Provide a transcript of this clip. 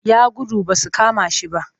Ya gudu ba su kama shi ba